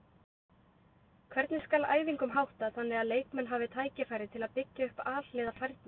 Hvernig skal æfingum háttað þannig að leikmenn hafi tækifæri til að byggja upp alhliða færni?